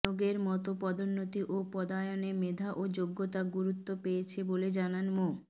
নিয়োগের মতো পদোন্নতি ও পদায়নে মেধা ও যোগ্যতা গুরুত্ব পেয়েছে বলে জানান মো